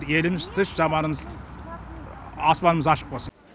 еліміз тыш заманымыз аспанымыз ашық болсын